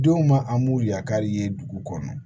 Denw ma an b'u yakari ye dugu kɔnɔ